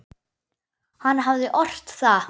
Hann hafði ort það.